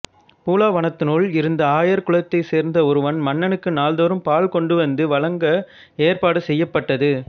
பூலாவனத்தினுள் இருந்த ஆயர் குலத்தைச் சேர்ந்த ஒருவன் மன்னனுக்கு நாள்தோறும் பால் கொண்டு வந்து வழங்க ஏற்பாடு செய்யப்பட்டது